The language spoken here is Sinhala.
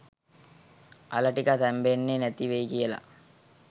අල ටික තැම්බෙන්නෙ නැති වෙයි කියලා.